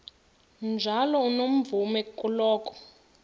njalo unomvume kuloko